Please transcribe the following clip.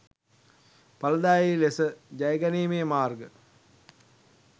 ඵලදායී ලෙස ජයගැනීමේ මාර්ග